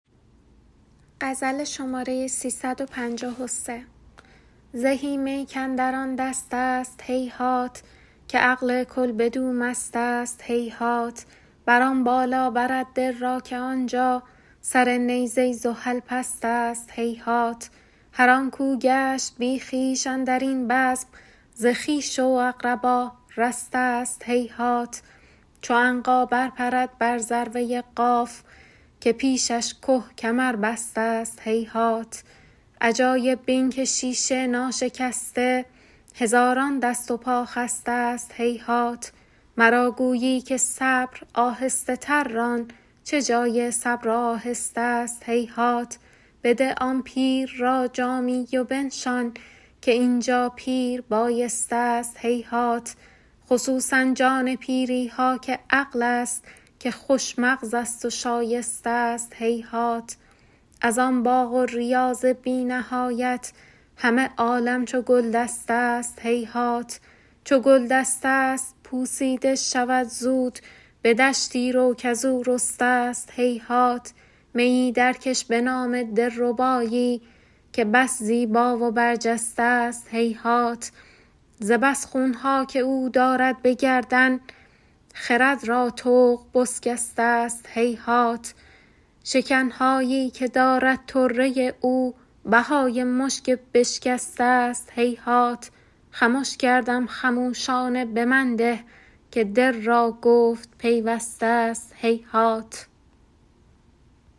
زهی می کاندر آن دستست هیهات که عقل کل بدو مستست هیهات بر آن بالا برد دل را که آن جا سر نیزه زحل پستست هیهات هر آن کو گشت بی خویش اندر این بزم ز خویش و اقربا رسته ست هیهات چو عنقا برپرد بر ذروه قاف که پیشش که کمربسته ست هیهات عجایب بین که شیشه ناشکسته هزاران دست و پا خسته ست هیهات مرا گویی که صبر آهسته تر ران چه جای صبر و آهسته ست هیهات بده آن پیر را جامی و بنشان که این جا پیر بایسته ست هیهات خصوصا جان پیری ها که عقل ست که خوش مغزست و شایسته ست هیهات از آن باغ و ریاض بی نهایت همه عالم چو گلدسته ست هیهات چو گلدسته ست پوسیده شود زود به دشتی رو کز او رسته ست هیهات میی درکش به نام دلربایی که بس زیبا و برجسته ست هیهات ز بس خون ها که او دارد به گردن خرد را طوق بسکسته ست هیهات شکن هایی که دارد طره او بهای مشک بشکسته ست هیهات خمش کردم خموشانه به من ده که دل را گفت پیوسته ست هیهات